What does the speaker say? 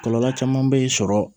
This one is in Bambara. Kɔlɔlɔ caman bɛ sɔrɔ